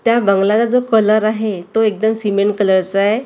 त्या बंगलाला जो कलर आहे तो एकदम सिमेंट कलरचा आहे.